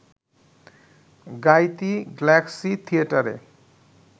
গাইতি galaxy থিয়েটারে